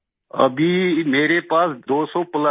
मंजूर जी अभी मेरे पास 200 प्लस है